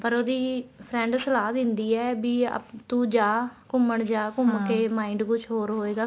ਪਰ ਉਹਦੀ friend ਸਲਾਹ ਦਿੰਦੀ ਏ ਵੀ ਤੂੰ ਜਾ ਘੁੰਮਣ ਜਾ ਘੁੰਮ ਕੇ mind ਕੁੱਛ ਹੋਰ ਹੋਏਗਾ